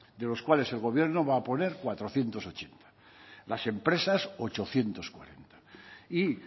de los cuales el gobierno va a poner cuatrocientos ochenta las empresas ochocientos cuarenta y